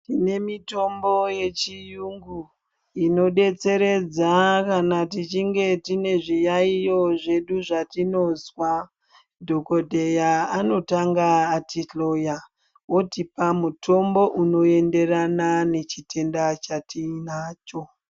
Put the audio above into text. Tine mitombo yechiyungu inobetseredza kana tichinge tiine zviyayiyo zvedu zvatinozwa dhokodheya anotanga atihloya otipa mutombo unoenderana nechitenda chatinacho .